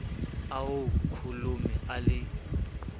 a ho kholomo a le